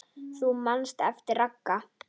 Þú manst eftir Ragga.